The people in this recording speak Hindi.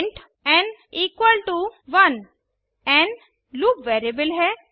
int n equal to 1 n loop variable है